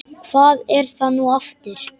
Hvað er það nú aftur?